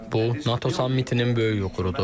Bu, NATO sammitinin böyük uğurudur.